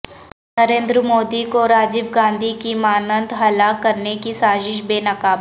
نریندر مودی کو راجیو گاندھی کی مانند ہلاک کرنے کی سازش بے نقاب